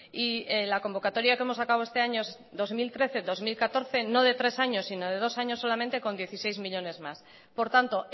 y la convocatoria que hemos sacado este año dos mil trece dos mil catorce no de tres años sino de dos años solamente con dieciséis millónes más por tanto